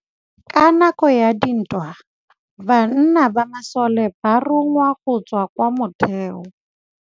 Ka nakô ya dintwa banna ba masole ba rongwa go tswa kwa mothêô.